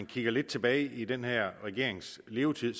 kigger lidt tilbage i den her regerings levetid